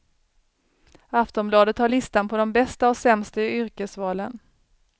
Aftonbladet har listan på de bästa och sämsta yrkesvalen.